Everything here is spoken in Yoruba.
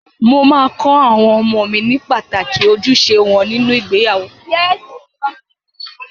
Mo máa kọ àwọn ọmọ mi ní pàtàkì ojúṣe wọn nínú ìgbéyàwó.